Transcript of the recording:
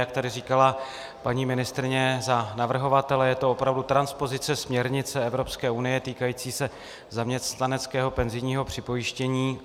Jak tady říkala paní ministryně za navrhovatele, je to opravdu transpozice směrnice Evropské unie týkající se zaměstnaneckého penzijního připojištění.